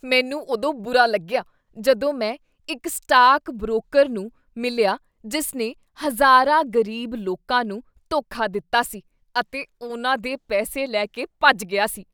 ਮੈਨੂੰ ਉਦੋਂ ਬੁਰਾ ਲੱਗਿਆ ਜਦੋਂ ਮੈਂ ਇੱਕ ਸਟਾਕ ਬਰੋਕਰ ਨੂੰ ਮਿਲਿਆ ਜਿਸ ਨੇ ਹਜ਼ਾਰਾਂ ਗ਼ਰੀਬ ਲੋਕਾਂ ਨੂੰ ਧੋਖਾ ਦਿੱਤਾ ਸੀ ਅਤੇ ਉਨ੍ਹਾਂ ਦੇ ਪੈਸੇ ਲੈ ਕੇ ਭੱਜ ਗਿਆ ਸੀ।